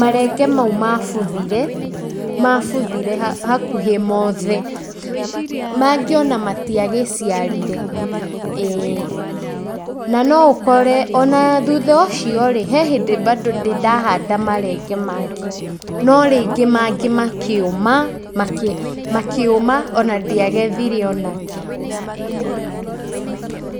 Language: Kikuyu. marenge mau mabuthire, mabuthire hakuhĩ mothe mangĩ ona matigĩciarire, ĩĩ. Na no ũkore ona thutha ũcio rĩ, he hĩndĩ bandũ ndĩ ndahanda marenge mangĩ, no rĩngĩ mangĩ makĩũma, makĩũma ona ndiagethire ona kĩ.